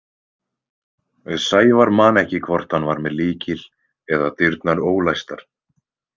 Sævar man ekki hvort hann var með lykil eða dyrnar ólæstar.